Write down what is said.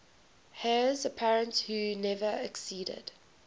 heirs apparent who never acceded